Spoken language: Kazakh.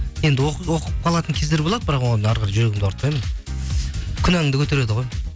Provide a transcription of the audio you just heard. енді оқып қалатын кездер болды бірақ оған әрі қарай жүрегімді ауыртпайын күнәңді көтереді ғой